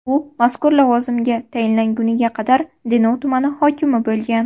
U mazkur lavozimga tayinlangunga qadar Denov tumani hokimi bo‘lgan .